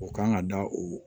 O kan ka da o